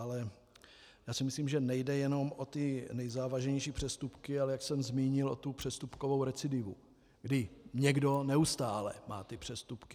Ale já si myslím, že nejde jenom o ty nejzávažnější přestupky, ale jak jsem zmínil, o tu přestupkovou recidivu, kdy někdo neustále má ty přestupky.